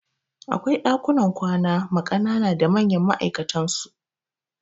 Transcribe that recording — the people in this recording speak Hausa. Akwai ɗakunan kwana ma kanana da manyan ma'aikatan su